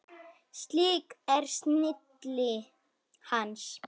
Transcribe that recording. Slík er snilli hans.